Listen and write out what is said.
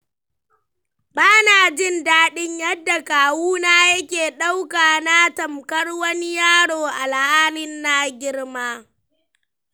Ba na jin daɗin yadda kawuna yake ɗauka na tamfar wani yaro alhali na girma.